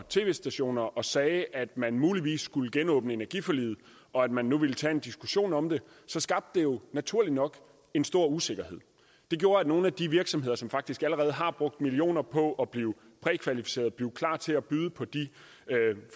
tv stationer og sagde at man muligvis skulle genåbne energiforliget og at man nu vil tage en diskussion om det skabte det jo naturligt nok en stor usikkerhed det gjorde at nogle af de virksomheder som faktisk allerede har brugt millioner på at blive prækvalificeret blive klar til at byde på